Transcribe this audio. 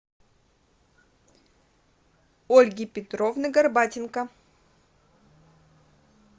ольги петровны горбатенко